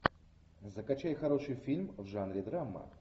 закачай хороший фильм в жанре драма